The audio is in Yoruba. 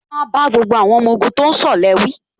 Wọ́n á bá gbogbo àwọn ọmọ ogun tó ń ṣọ̀lẹ wí